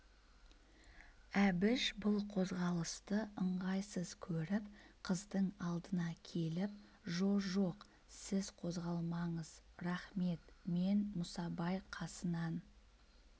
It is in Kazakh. әбіш бұл қозғалысты ыңғайсыз көріп қыздың алдына келіп жо жоқ сіз қозғалмаңыз рақмет мен мұсабай қасынан